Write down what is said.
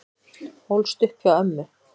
Ólst upp hjá ömmu